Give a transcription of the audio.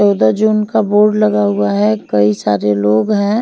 चौदह जून का बोर्ड लगा हुआ है कई सारे लोग हैं।